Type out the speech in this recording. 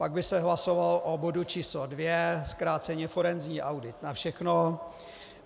Pak by se hlasovalo o bodu číslo 2, zkráceně forenzní audit na všechno.